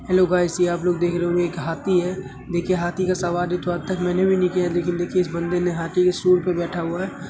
Hello guys ये आप लोग देख रहे होंगे यह एक हाथी है। देखिए हाथी का सवारी तो आजतक मैंने भी नहीं किया है। लेकिन देखिये इस बन्दे ने हाथी की सूंढ़ पर बैठा हुआ है।